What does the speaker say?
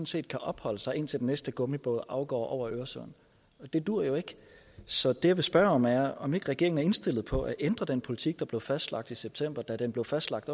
set kan opholde sig indtil den næste gummibåd afgår over øresund og det duer jo ikke så det jeg vil spørge om er om ikke regeringen er indstillet på at ændre den politik der blev fastlagt i september da den blev fastlagt